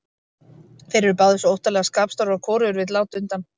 Þeir eru báðir svo óttalega skapstórir og hvorugur vill láta undan.